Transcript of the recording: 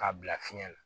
K'a bila fiɲɛ na